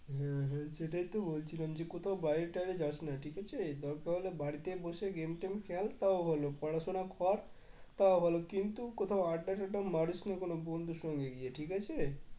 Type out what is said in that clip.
হ্যাঁ হ্যাঁ সেটাই তো বলছিলাম যে কোথাও বাইরে টায়রে যাস না ঠিক আছে দরকার হলে বাড়িতেই বসে game টেম খেল তাও ভালো পড়াশোনা কর তাও ভালো কিন্তু কোথাও আড্ডা টাডডা মারিস না কোন বন্ধুর সঙ্গে গিয়ে ঠিক আছে